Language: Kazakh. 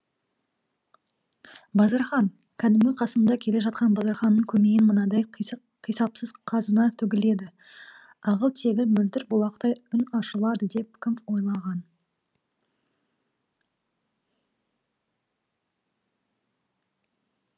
базархан кәдімгі қасымда келе жатқан базарханның көмейінен мынадай қисапсыз қазына төгіледі ағыл тегіл мөлдір бұлақтай үн ашылады деп кім ойлаған